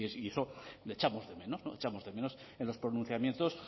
y eso lo echamos de menos lo echamos de menos en los pronunciamientos